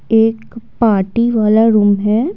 एक पार्टी वाला रूम है।